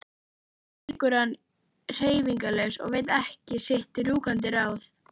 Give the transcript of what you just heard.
Þarna liggur hann hreyfingarlaus og veit ekki sitt rjúkandi ráð.